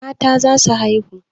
Mata za su haihu.